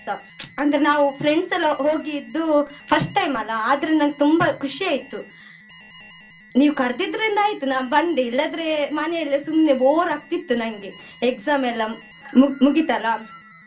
ಅಂದ್ರೆ ನಾವ್ friends ಎಲ್ಲ ಹೋಗಿದ್ದು first time ಅಲ್ಲ ಆದ್ರೂ ನಂಗೆ ತುಂಬಾ ಖುಷಿ ಆಯ್ತು ನೀವ್ ಕರ್ದಿದ್ರಿಂದ ಆಯ್ತು ನಾನ್ ಬಂದೆ ಇಲ್ಲದ್ರೆ ಮನೆಯಲ್ಲೇ ಸುಮ್ನೆ bore ಆಗ್ತಿತ್ತು ನಂಗೆ exam ಎಲ್ಲ ಮು~ ಮುಗಿತಲ್ಲ.